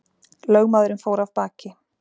Lögmaðurinn fór af baki.